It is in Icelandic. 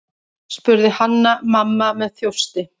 spurði Hanna-Mamma með þjósti.